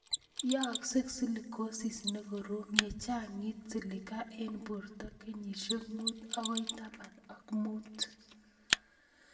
Yaakse Silicosis ne korom ye chang'it silica eng' poto kenyishek mut akoi taman ak mut